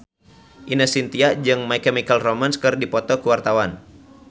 Ine Shintya jeung My Chemical Romance keur dipoto ku wartawan